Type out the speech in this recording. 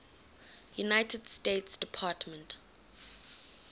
united states department